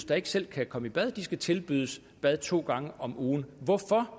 der ikke selv kan komme i bad skal tilbydes et bad to gange om ugen hvorfor